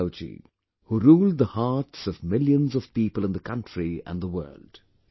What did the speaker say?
T Rama Rao ji, who ruled the hearts of millions of people in the country and the world